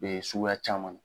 suguya caman.